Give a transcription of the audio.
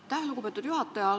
Aitäh, lugupeetud juhataja!